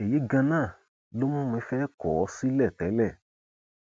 èyí ganan ló mú mi fẹẹ kọ ọ sílẹ tẹlẹ